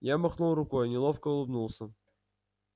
я махнул рукой неловко улыбнулся